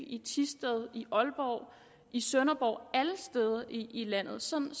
i thisted i aalborg i sønderborg alle steder i landet sådan